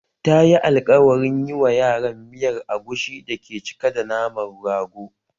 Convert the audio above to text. Tayi alkawarin yi wa yaran miyar agushi da ke cike da naman rago